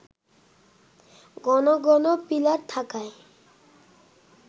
ঘন ঘন পিলার থাকায়